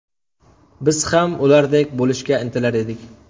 Biz ham ulardek bo‘lishga intilar edik.